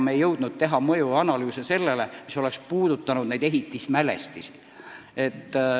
Me ei jõudnud teha mõjuanalüüse, mis oleks puudutanud kõnealuseid ehitismälestisi.